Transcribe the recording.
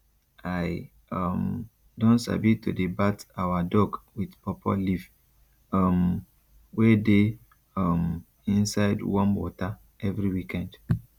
i um don sabi to dey bath our dog with pawpaw leave um wey dey um inside warm water every weekend